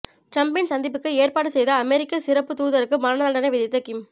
டிரம்பின் சந்திப்புக்கு ஏற்பாடு செய்த அமெரிக்க சிறப்பு தூதருக்கு மரண தண்டனை விதித்த கிம்